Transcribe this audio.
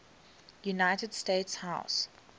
united states house